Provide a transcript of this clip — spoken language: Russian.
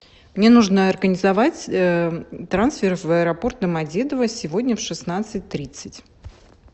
мне нужно организовать трансфер в аэропорт домодедово сегодня в шестнадцать тридцать